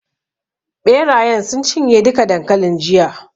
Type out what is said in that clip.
Ɓerayen sun cinye duka dankalin jiya.